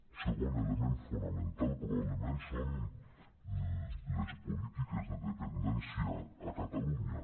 un segon element fonamental probablement són les polítiques de dependència a catalunya